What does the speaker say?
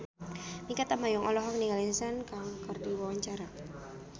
Mikha Tambayong olohok ningali Sun Kang keur diwawancara